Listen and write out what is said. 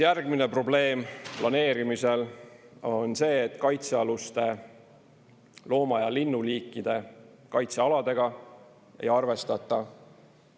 Järgmine probleem planeerimisel on see, et kaitsealuste looma- ja linnuliikide kaitsealadega ei arvestata.